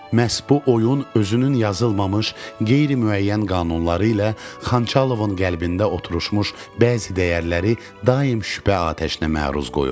Məhz bu oyun özünün yazılmamış, qeyri-müəyyən qanunları ilə Xançalovun qəlbində oturuşmuş bəzi dəyərləri daim şübhə atəşinə məruz qoyurdu.